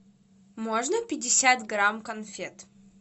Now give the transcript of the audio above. можно пятьдесят грамм конфет